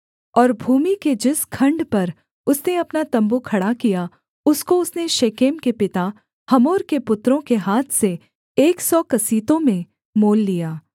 और भूमि के जिस खण्ड पर उसने अपना तम्बू खड़ा किया उसको उसने शेकेम के पिता हमोर के पुत्रों के हाथ से एक सौ कसीतों में मोल लिया